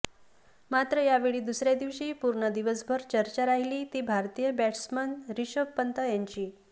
मात्र यावेळी दुसऱ्या दिवशी पूर्ण दिवसभर चर्चा राहिली ती भारतीय बॅट्समन रिषभ पंत याची